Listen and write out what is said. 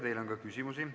Teile on küsimusi.